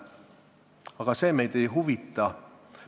Aga see meid ei huvita.